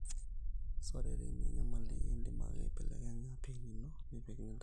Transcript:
sore teina nyamali, idim ake aibelekenya pin ino nipik nidamu